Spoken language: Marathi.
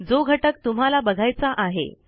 जो घटक तुम्हाला बघायचा आहे